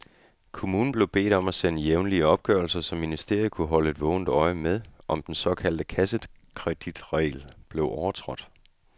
Kommunen blev bedt om at sende jævnlige opgørelser, så ministeriet kunne holde et vågent øje med, om den såkaldte kassekreditregel blev overtrådt.